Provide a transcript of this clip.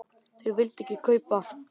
Þeir vildu ekki kaupa.